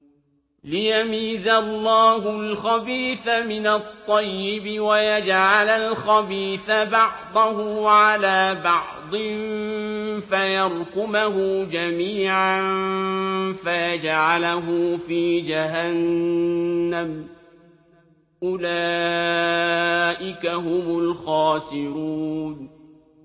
لِيَمِيزَ اللَّهُ الْخَبِيثَ مِنَ الطَّيِّبِ وَيَجْعَلَ الْخَبِيثَ بَعْضَهُ عَلَىٰ بَعْضٍ فَيَرْكُمَهُ جَمِيعًا فَيَجْعَلَهُ فِي جَهَنَّمَ ۚ أُولَٰئِكَ هُمُ الْخَاسِرُونَ